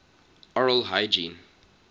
oral hygiene